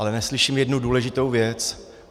Ale neslyším jednu důležitou věc.